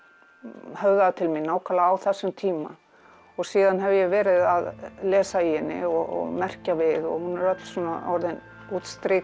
höfðaði til mín nákvæmlega á þessum tíma síðan hef ég verið að lesa í henni og merkja við og hún er öll orðin útstrikuð